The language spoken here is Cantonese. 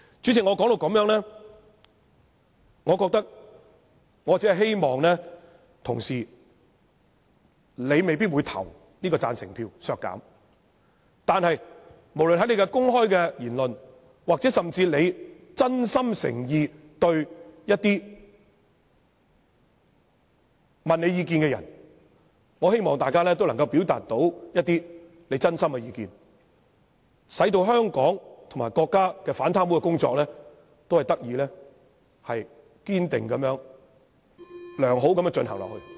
主席，雖然我知道很多同事未必會表決贊成削減有關的預算開支，但我希望他們在作出公開言論，或回答一些相關問題時，能夠表達一些真心的意見，令香港和國家的反貪污工作得以堅定和良好地繼續進行。